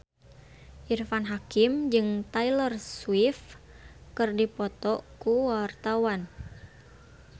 Irfan Hakim jeung Taylor Swift keur dipoto ku wartawan